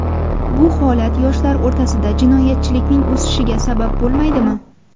Bu holat yoshlar o‘rtasida jinoyatchilikning o‘sishiga sabab bo‘lmaydimi?